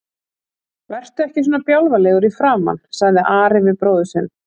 Vertu ekki svona bjálfalegur í framan, sagði Ari við bróður sinn.